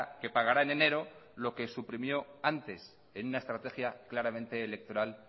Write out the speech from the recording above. que pagará en enero lo que suprimió antes es una estrategia claramente electoral